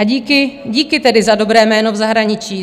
A díky tedy za dobré jméno v zahraničí.